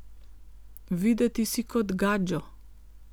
Videti si kot gadžo.